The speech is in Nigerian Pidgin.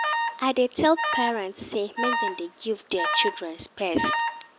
I dey tell parents sey make dem dey give their children space.